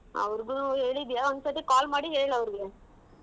ಅವ್ರಗುನು ಹೇಳಿದ್ದೀಯಾ ಒಂದ್ ಸತಿ call ಮಾಡಿ ಹೇಳ್ ಅವ್ರಗೆ.